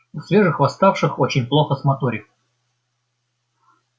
у свежих восставших очень плохо с моторикой